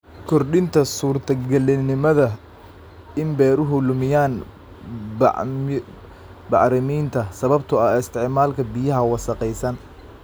Kordhinta suurtagalnimada in beeruhu lumiyaan bacriminta sababtoo ah isticmaalka biyaha wasakhaysan.